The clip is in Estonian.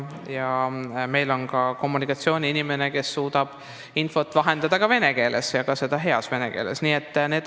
Meil on ka kommunikatsioonispetsialist, kes suudab infot vahendada vene keeles ja teeb seda heas vene keeles.